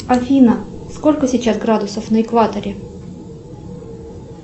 афина сколько сейчас градусов на экваторе